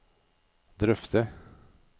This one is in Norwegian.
drøfte